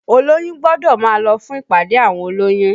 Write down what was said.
Olóyún gbọ́dọ̀ máa lọ fún ìpàdé àwọn olóyún